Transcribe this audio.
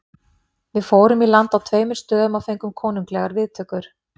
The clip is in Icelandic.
Við fórum í land á tveimur stöðum og fengum konunglegar viðtökur.